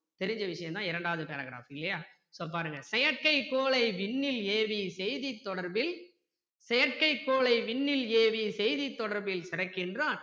தெரிஞ்ச விஷயம் தான் இரண்டாவது paragraph இல்லையா இப்போ பாருங்க செயற்கைக் கோளை விண்ணில் ஏவி செய்தித் தொடர்பில் செயற்கைக் கோளை விண்ணில் ஏவி செய்தித் தொடர்பில் சிறக்கின்றான்